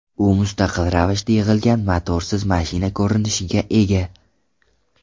U mustaqil ravishda yig‘ilgan motorsiz mashina ko‘rinishiga ega.